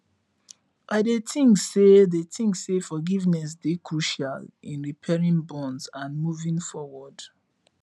i dey think say dey think say forgiveness dey crucial in repairing bonds and moving forward